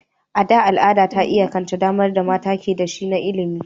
A da, al'ada ta iyakance damar da mata ke da shi na ilimi.